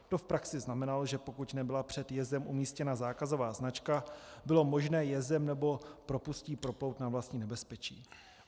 To v praxi znamenalo, že pokud nebyla před jezem umístěna zákazová značka, bylo možné jezem nebo propustí proplout na vlastní nebezpečí.